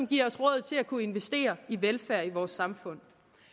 giver os råd til at kunne investere i velfærd i vores samfund